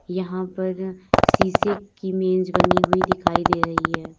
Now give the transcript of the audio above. यहां पर शीशे की मेज बनी हुई दिखाई दे रही है।